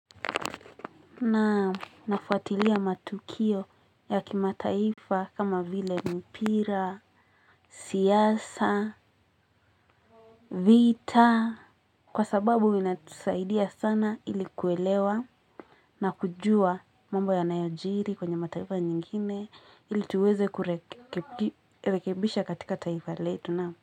Nam nafuatilia matukio ya kimataifa kama vile mpira, siasa, vita kwa sababu inatusaidia sana ili kuelewa na kujua mambo yanayojiri kwenye mataifa nyingine ili tuweze kurekebisha katika taifa letu namu.